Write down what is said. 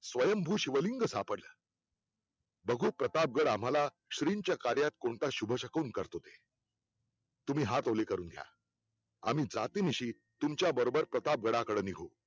स्वयंभू शिवलिंग सापडलं बघू प्रतापगड आम्हाला श्रींच्या कार्यात कोणता शुभशकून करतो ते तुम्ही हात ओले करून घ्या आम्ही जातीनिशी तुमच्याबरोबर प्रतापगडाकडे निघू